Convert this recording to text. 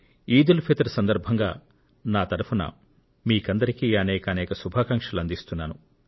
ఈద్ ఉల్ ఫిత్ర్ సందర్భంగా నా తరపున మీకందరికీ అనేక శుభాకాంక్షలు అందిస్తున్నాను